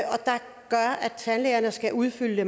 tandlægerne skal udfylde